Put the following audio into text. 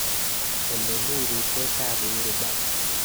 Olemi riipsetap uhuru park